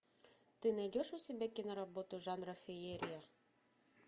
ты найдешь у себя кино работу жанра феерия